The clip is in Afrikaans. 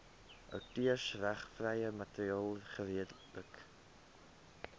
outeursregvrye materiaal geredelik